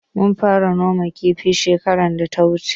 Mun fara noman kifi shekarar da ta wuce.